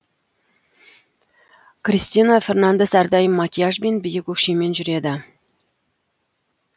кристина фернандес әрдайым макияж бен биік өкшемен жүреді